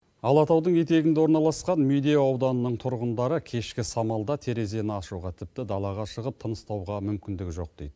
алатаудың етегінде орналасқан медеу ауданының тұрғындары кешкі самалда терезені ашуға тіпті далаға шығып тыныстауға мүмкіндік жоқ дейді